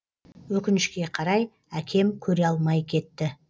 өкінішке қарай әкем көре алмай кетті